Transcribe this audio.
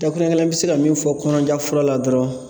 Dakuruɲɛ kelen bɛ se ka min fɔ kɔnɔja fura la dɔrɔn